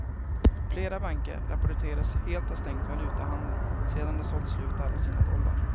Flera banker rapporterades helt ha stängt valutahandeln sedan de sålt slut alla sina dollar.